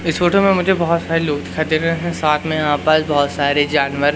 इस फोटो में मुझे बहुत सारे लोग दिखाई दे रहे हैं साथ में यहां पर बहुत सारे जानवर--